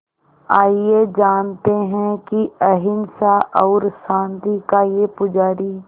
आइए जानते हैं कि अहिंसा और शांति का ये पुजारी